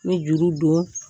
N mi juru don.